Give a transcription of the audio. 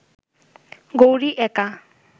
গৌরি একা